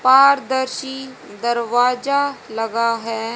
पारदर्शी दरवाजा लगा है।